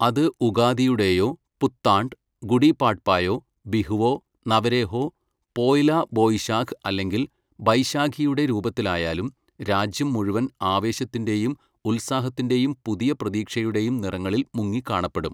അത് ഉഗാദിയുടേയോ, പുത്താണ്ഡ്, ഗുഡിപാഡ്പായോ, ബിഹുവോ, നവരേഹ്ഓ, പോയ്ലാ ബൊയിശാഖ് അല്ലെങ്കിൽ ബൈശാഖിയുടെ രൂപത്തിലായാലും രാജ്യം മുഴുവൻ ആവേശത്തിന്റെയും ഉത്സാഹത്തിന്റെയും പുതിയ പ്രതീക്ഷയുടെയും നിറങ്ങളിൽ മുങ്ങി കാണപ്പെടും.